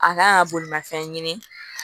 A kan ka bolimafɛn ɲini